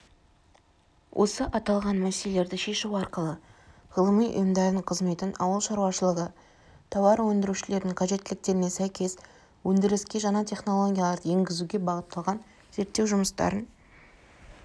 осы аталған мәселелерді шешу арқылы ғылыми ұйымдардың қызметін ауыл шаруашылығы тауар өндірушілерінің қажеттіліктеріне сәйкес өндіріске жаңа технологияларды енгізуге бағытталған зерттеу жұмыстарын